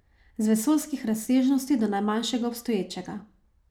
Z vesoljskih razsežnosti do najmanjšega obstoječega.